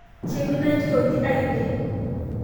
Keimina kiioni ainien